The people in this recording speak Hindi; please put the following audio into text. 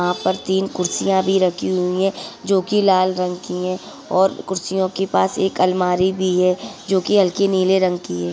वहां पर तीन कुर्सियां भी रखी हुई हैं जो कि लाल रंग की हैं और कुर्सियों के पास एक अलमारी भी है जो कि हल्की नीले रंग की है।